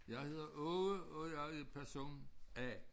Jeg hedder Åge og jeg er person A